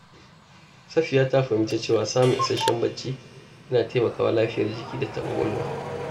Safiya ta fahimci cewa samun isasshen barci yana taimakawa lafiyar jiki da ta ƙwaƙwalwa.